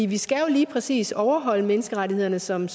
vi skal jo lige præcis overholde menneskerettighederne som